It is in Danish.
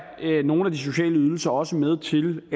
nogle af de sociale ydelser også med til